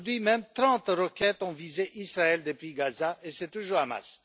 Aujourd'hui même, trente roquettes ont visé Israël depuis Gaza, et c'est toujours le Hamas.